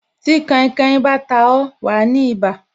Tí kainkain bá ta ó, wa ní ibà